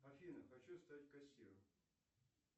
афина хочу стать кассиром